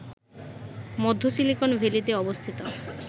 মধ্য সিলিকন ভ্যালীতে অবস্থিত